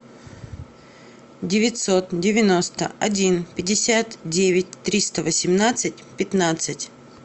девятьсот девяносто один пятьдесят девять триста восемнадцать пятнадцать